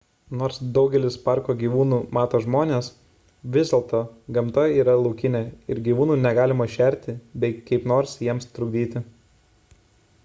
nors daugelis parko gyvūnų mato žmones vis dėl to gamta yra laukinė ir gyvūnų negalima šerti bei kaip nors jiems trukdyti